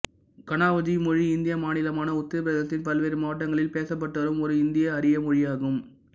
கனாவுஜி மொழி இந்திய மாநிலமான உத்தரப் பிரதேசத்தின் பல்வேறு மாவட்டங்களில் பேசப்பட்டுவரும் ஒரு இந்தியஆரிய மொழியாகும்